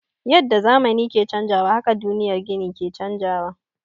Yadda zamani ke canjawa haka duniyar gini ke canjawa.